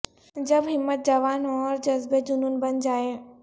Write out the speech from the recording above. جب ہمت جوان ہو اور جذبے جنون بن جائیں